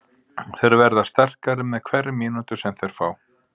Þeir verða sterkari með hverri mínútu sem þeir fá.